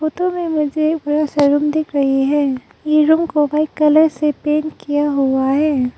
Photo में मुझे blue film दिख रही है ये रूम को व्हाइट कलर से पेंट किया हुआ है।